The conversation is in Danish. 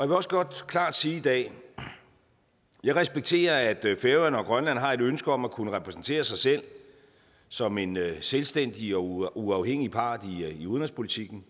vil også godt klart sige i dag at jeg respekterer at færøerne og grønland har et ønske om at kunne repræsentere sig selv som en selvstændig og uafhængig part i udenrigspolitikken